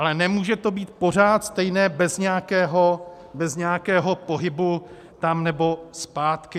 Ale nemůže to být pořád stejné bez nějakého pohybu tam nebo zpátky.